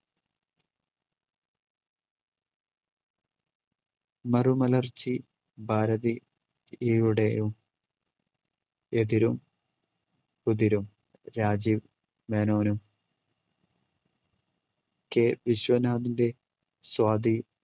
മർമലർച്ചി ഭാരതി~യുടെ എതിരും ഉതിരും രാജീവ് മേനോനും K വിശ്വനാഥിന്റെ സ്വാതി